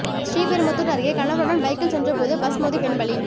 ஸ்ரீபெரும்புதூர் அருகே கணவருடன் பைக்கில் சென்றபோது பஸ் மோதி பெண் பலி